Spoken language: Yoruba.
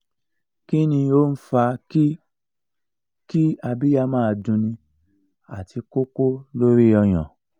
kini o n fa ki ki abiya ma dun ni ati koko lori oyan